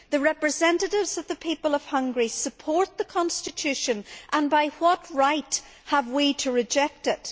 The representatives of the people of Hungary support the constitution, so what right have we to reject it?